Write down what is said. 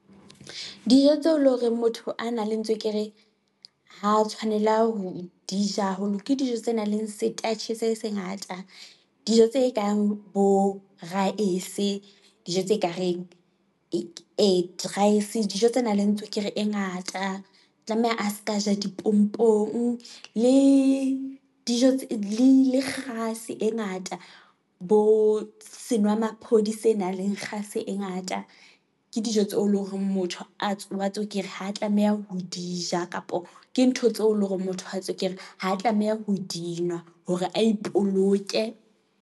tseo leng hore motho a nang le tswekere, ha tshwanela ho di ja haholo, ke dijo tse nang le setatjhe se se ngata, dijo tse kang bo raesebe, dijo tse nang le tswekere e ngata, tlameha a se ka ja dipompong, le kgase e ngata, bo senwamaphodi se nang le kgase e ngata. Ke dijo tseo e leng hore motho a wa tswekere ha tlameha ho di ja, kapa ke ntho tseo e leng hore motho a tswekere, ha tlameha ho di nwa hore a ipoloke.